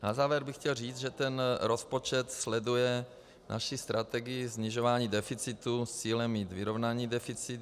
Na závěr bych chtěl říct, že ten rozpočet sleduje naši strategii snižování deficitu s cílem mít vyrovnaný deficit.